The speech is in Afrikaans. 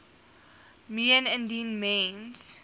meen indien mens